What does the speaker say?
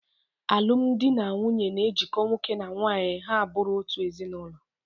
Alụmdi na nwunye na-ejiko nwoke na nwaanyị ha a bụrụ otu ezinaụlọ.